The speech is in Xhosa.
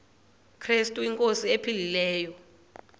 krestu inkosi ephilileyo